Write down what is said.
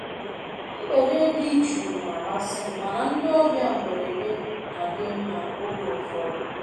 mgbede di jụụ na amasị m, mana ndị ọbịa mberede na-adị mma oge ụfọdụ